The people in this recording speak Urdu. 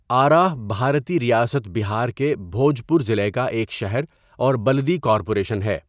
آراہ بھارتی ریاست بہار کے بھوجپور ضلع کا ایک شہر اور بلدی کارپوریشن ہے۔